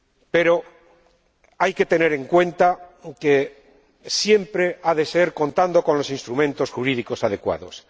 Pero hay que tener en cuenta que esto siempre habrá de hacerlo contando con los instrumentos jurídicos adecuados.